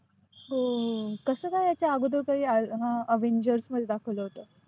हो कसं काय ते आगोदर अ avengers मध्ये दाखवलं होतं.